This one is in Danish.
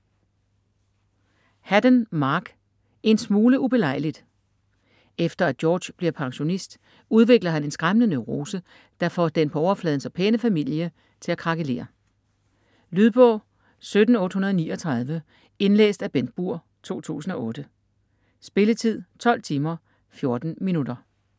Haddon, Mark: En smule ubelejligt Efter at George bliver pensionist, udvikler han en skræmmende neurose, der får den på overfladen så pæne familie til at krakelere. Lydbog 17839 Indlæst af Bengt Burg, 2008. Spilletid: 12 timer, 14 minutter.